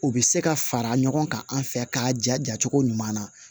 U bɛ se ka fara ɲɔgɔn kan an fɛ k'a ja cogo ɲuman na